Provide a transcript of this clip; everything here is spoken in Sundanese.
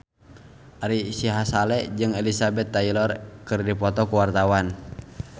Ari Sihasale jeung Elizabeth Taylor keur dipoto ku wartawan